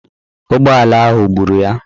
Ụgbọala ahụ gburu ya.